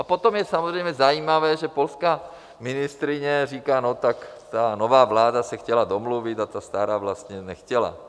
A potom je samozřejmě zajímavé, že polská ministryně říká, no tak ta nová vláda se chtěla domluvit a ta stará vlastně nechtěla.